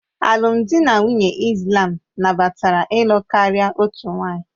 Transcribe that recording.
Alụmdi na nwunye Islam nabatara ịlụ karịa otu nwanyị